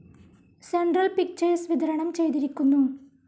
Central pictures വിതരണം ചെയ്തിരിക്കുന്നു.